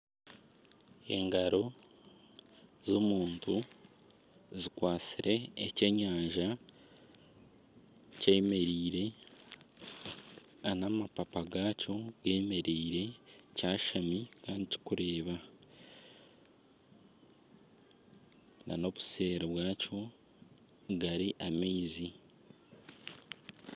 Engaro z'omuntu zikwatsire ekyenyanja kyemereire nana amapapa gakyo gemereire kyashami kandi kikureeba. Nana obuseeri bwakyo gari amaizi